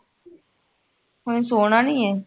ਓਹਨੇ ਸੋਨਾ ਨਹੀਂ ਏ